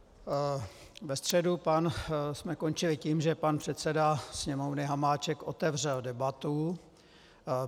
Ve středu jsme končili tím, že pan předseda Sněmovny Hamáček otevřel debatu.